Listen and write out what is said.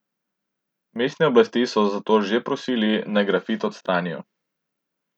Mestne oblasti so zato že prosili, naj grafit odstranijo.